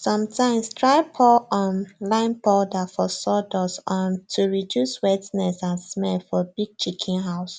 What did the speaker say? sometimes try poue um lime powder for sawdust um to reduce wetness and smell for big chicken house